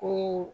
Kunun